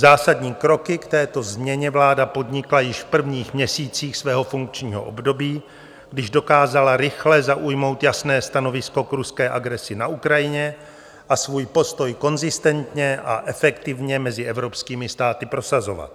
Zásadní kroky k této změně vláda podnikla již v prvních měsících svého funkčního období, když dokázala rychle zaujmout jasné stanovisko k ruské agresi na Ukrajině a svůj postoj konzistentně a efektivně mezi evropskými státy prosazovat.